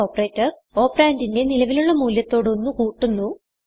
operator operand ന്റിന്റെ നിലവിലുള്ള മൂല്യത്തോട് ഒന്ന് കൂട്ടുന്നു